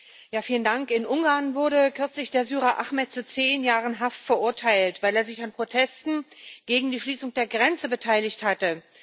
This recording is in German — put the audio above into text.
Herr Präsident! In Ungarn wurde kürzlich der Syrer Ahmed zu zehn Jahren Haft verurteilt, weil er sich an Protesten gegen die Schließung der Grenze beteiligt hatte.